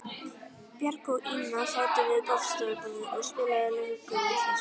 Björg og Ína sátu við borðstofuborðið og spiluðu lönguvitleysu.